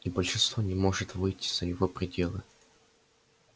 и большинство не может выйти за его пределы